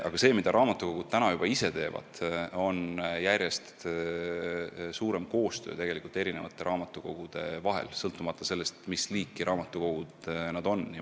Aga see, mida raamatukogud juba ise teevad, on järjest suurem koostöö raamatukogude vahel, sõltumata sellest, mis liiki need on.